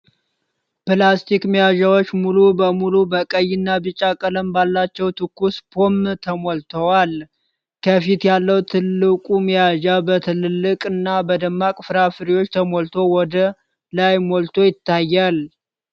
ፕላስቲክ መያዣዎች ሙሉ በሙሉ በቀይና ቢጫ ቀለም ባላቸው ትኩስ ፖም ተሞልተዋል። ከፊት ያለው ትልቁ መያዣ፣ በትላልቅ እና በደማቅ ፍራፍሬዎች ተሞልቶ ወደ ላይ ሞልቶ ይታያል።